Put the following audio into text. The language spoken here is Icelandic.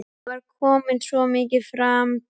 Ég var komin svo mikið framyfir.